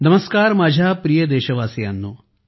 नमस्कार माझ्या प्रिय देशवासियांनो